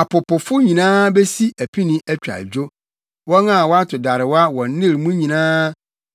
Apopofo nyinaa besi apini atwa adwo, wɔn a wɔto darewa wɔ Nil mu nyinaa;